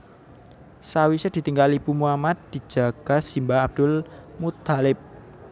Sawisé ditinggal ibu Muhammad dijaga simbah Abdul Muththalib